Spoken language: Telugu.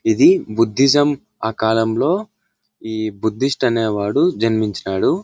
ఇది బుద్ధిజం ఆ కాలంలో ఈ బుద్ధిష్ట్ అనేవాడు జన్మించాడు.